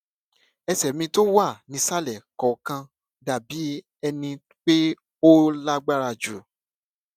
ẹsè mi tó wà nísàlè kòòkan dà bí ẹni pé ó lágbára jù